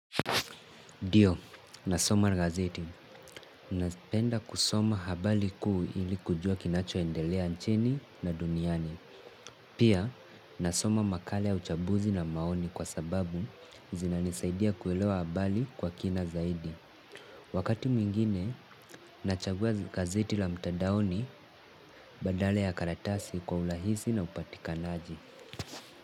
Ndio, nasoma na gazeti. Nazipenda kusoma habyali kuu ili kujua kinachoendelea nchini na duniani. Pia, nasoma makala ya uchambuzi na maoni kwa sababu zinanisaidia kuelewa habari kwa kina zaidi. Wakati mwingine, nachagua gazeti la mtandaoni badala ya karatasi kwa urahisi na upatikanaji.